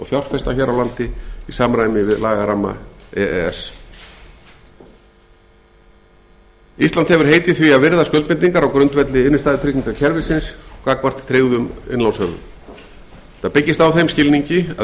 fjárfesta hér á landi í samræmi við lagaramma e e s ísland hefur heitið því að virða skuldbindingar á grundvelli innstæðutryggingakerfisins gagnvart tryggðum innlánshöfum þetta byggist á þeim skilningi að unnt verði